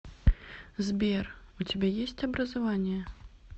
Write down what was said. сбер у тебя есть образование